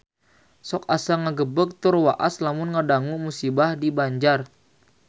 Sok asa ngagebeg tur waas lamun ngadangu musibah di Banjar